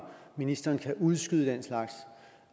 ministeren kan udskyde den slags